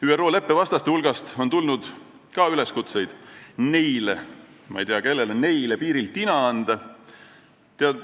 ÜRO leppe vastaste hulgast on tulnud üleskutseid neile – ma ei tea, kellele "neile" – piiril tina anda.